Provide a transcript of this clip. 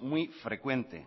muy frecuente